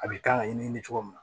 A bɛ kan ka ɲɛɲinini cogo min na